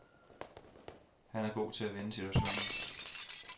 Han er god til at vende situationer.